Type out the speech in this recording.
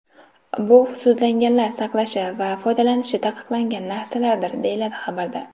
Bu sudlanganlar saqlashi va foydalanishi taqiqlangan narsalardir, deyiladi xabarda.